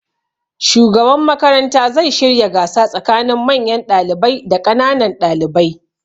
Shugaban makaranta zai shirya gasa tsakanin manyan ɗalibai da ƙananan ɗalibai.